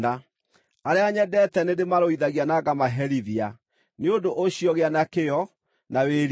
Arĩa nyendete nĩndĩmarũithagia na ngamaherithia. Nĩ ũndũ ũcio gĩa na kĩyo, na wĩrire.